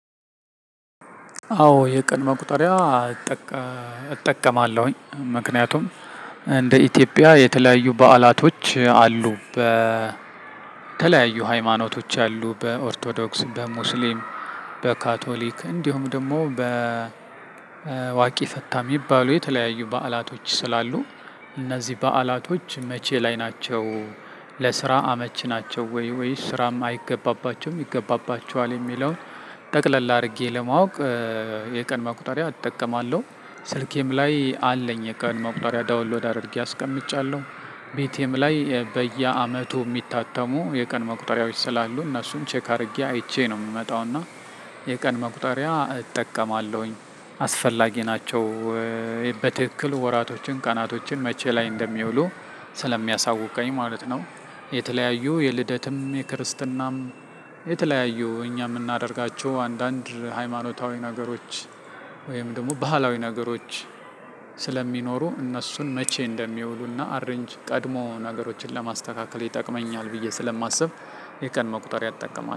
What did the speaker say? አዎ የቀን መቁጠሪያ እጠቀማለሁኝ። ምክንያቱም እንደ ኢትዮጵያ የተለያዩ በዓላቶች አሉ በተለያዩ ሃይማኖቶች አሉ በኦርቶዶክስ በሙስሊም በካቶሊክ እንዲሁም ደግሞ በዋቂ ፈታ የሚባሉ የተለያዩ በዓላቶች ስላሉ እነዚህ በዓላቶች መቼ ላይ ናቸው? ለስራ አመች ናቸው ወይ ወይስ ስራም አይገባባቸውም ይገባባቸዋል የሚለውን ጠቅለል አድርጌ ለማወቅ። የቀን ማቁጣሪያ እጠቀማለሁ ስልኬም ላይ አለኝ የቀን ማቁጣሪያ ዳውንሎድ አድርጌ አስቀምጫለሁ። ቤቲም ላይ በየአመቱ የሚታተሙ የቀን መቁጠሪያዎች ስላሉ እነሱን ቼክ አድርጌ አይቼ ነው የምመጣው። እና የቀን መቁጠሪያ እጠቀማለሁኝ አስፈላጊ ናቸው። በትክክል ወራቶችን ቀናቶችን መቼ ላይ እንደሚውሉ ስለሚያሳውቀኝ ማለት ነው። የተለያዩ የልደትም የክርስትናም የተለያዩ እኛ የምናደርጋቸው አንዳንድ ሃይማኖታዊ ነገሮች ወይም ደግሞ ባህላዊ ነገሮች። ስለሚኖሩ እነሱን መቼ እንደሚውሉና አረንጅ ቀድሞ ነገሮችን ለማስተካከል ይጠቅመኛል ብዬ ስለማስብ የቀን መቁጠር እጠቀማለው